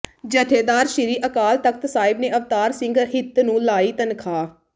ਜੱਥੇਦਾਰ ਸ੍ਰੀ ਅਕਾਲ ਤਖ਼ਤ ਸਾਹਿਬ ਨੇ ਅਵਤਾਰ ਸਿੰਘ ਹਿੱਤ ਨੂੰ ਲਾਈ ਤਨਖ਼ਾਹ